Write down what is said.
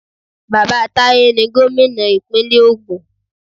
Bàbá Taye ni gómìnà ìpínlẹ̀ ògùn.